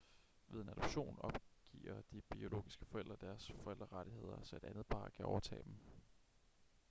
ved en adoption opgiver de biologiske forældre deres forældrerettigheder så et andet par kan overtage dem